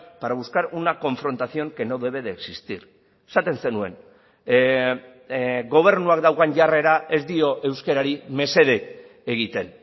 para buscar una confrontación que no debe de existir esaten zenuen gobernuak daukan jarrera ez dio euskarari mesede egiten